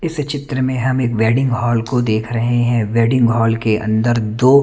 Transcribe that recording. इस चित्र में हम एक वेडिंग हॉल को देख रहे हैं वेडिंग हॉल के अंदर दो--